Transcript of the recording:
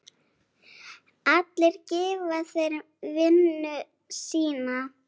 Allir gefa þeir vinnu sína.